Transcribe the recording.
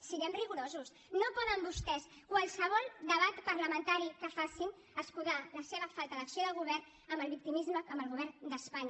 siguem rigorosos no poden vostès en qualsevol debat parlamentari que facin escudar la seva falta d’acció de govern en el victimisme amb el govern d’espanya